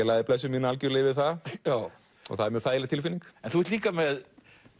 lagði blessun mína yfir það það er mjög þægileg tilfinning en þú ert líka með